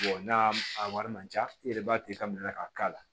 n'a a wari man ca i yɛrɛ b'a minɛ k'a k'a la